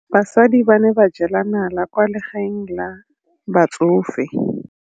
Basadi ba ne ba jela nala kwaa legaeng la batsofe.